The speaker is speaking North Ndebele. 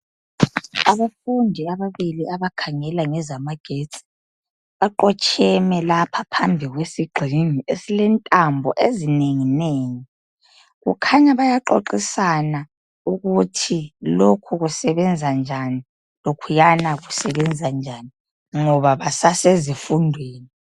Abafundi ababili abakhangela ngezamagetsi baqotsheme lapha phambi kwesigxingi esilentambo ezinengi nengi kukhanya bayaxoxisana ukut lokhu kusebenza njan lokhuyana kusebenza njani ngoba basasezifundweni